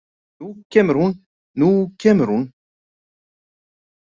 Nú kemur hún, nú kemur hún!